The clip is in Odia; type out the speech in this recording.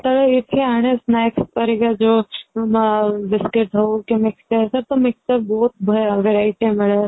ଏଇଠି ଅଣେ snacks ପରିକା ଯୋଉ ଅ ବିସ୍କେଟ ହଉ କି mixture ସେଇଠି ତ mixture ବହୁତ verity ମିଳେ